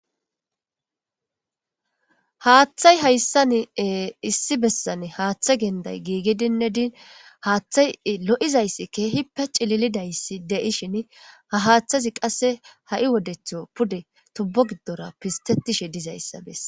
Haaththay hayssan issi bessane haaththe genday giigidinne din haaththay lo'izayssi keehi pe cililidayssi de'ishin ha haaththazi qasse ha'i wodetho pude tubbo giddora pistetishe dizayssa besse